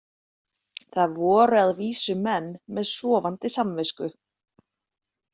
Það voru að vísu menn með sofandi samvisku.